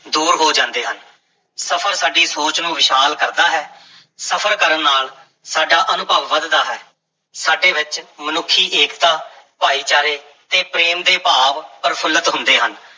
ਦੂਰ ਹੋ ਜਾਂਦੇ ਹਨ, ਸਫ਼ਰ ਸਾਡੀ ਸੋਚ ਨੂੰ ਵਿਸ਼ਾਲ ਕਰਦਾ ਹੈ ਸਫ਼ਰ ਕਰਨ ਨਾਲ ਸਾਡਾ ਅਨੁਭਵ ਵਧਦਾ ਹੈ, ਸਾਡੇ ਵਿੱਚ ਮਨੁੱਖੀ ਏਕਤਾ, ਭਾਈਚਾਰੇ ਤੇ ਪ੍ਰੇਮ ਦੇ ਭਾਵ ਪ੍ਰਫੁੱਲਤ ਹੁੰਦੇ ਹਨ।